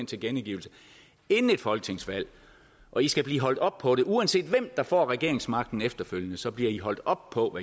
tilkendegivelse inden et folketingsvalg og i skal blive holdt op på det uanset hvem der får regeringsmagten efterfølgende så bliver i holdt op på